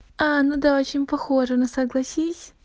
ну да очень похожа ну согласись